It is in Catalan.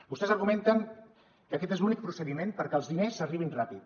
vostès argumenten que aquest és l’únic procediment perquè els diners arribin ràpid